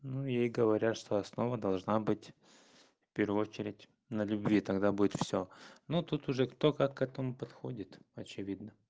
ну ей говорят что основа должна быть первую очередь на любви тогда будет всё ну тут уже кто как к этому подходит очевидно